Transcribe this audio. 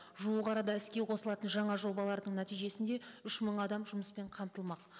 жуық арада іске қосылатын жаңа жобалардың нәтижесінде үш мың адам жұмыспен қамтылмақ